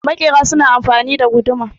makera suna amfani da guduma